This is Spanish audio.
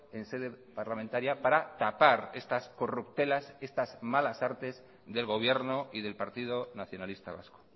en sede parlamentaria para tapar estas corruptelas estas malas artes del gobierno y del partido nacionalista vasco